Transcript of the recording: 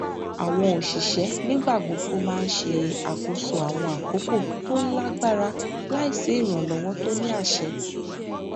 àwọn òṣìṣẹ nígbà gbogbo máa n ṣe àkóso àwọn àkókò tó lágbára láì sí ìrànlọwọ tó ní àṣẹ